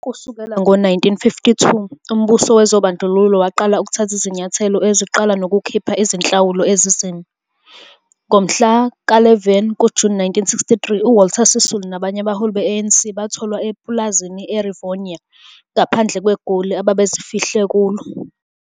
Kusukela ngo-1952, umbuso wobandlululo waqala ukuthatha izinyathelo ezinqala nokukhipha izinhlawulo ezinzima. Ngomhla ka-11 kuJune 1963, uWalter Sisulu nabanye abaholi be-ANC batholwa epulazini eRivonia, ngaphandle kweGoli, ababezifihle kuyo.